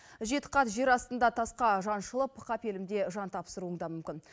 жеті қат жер астында тасқа жаншылып қапелімде жан тапсыруың да мүмкін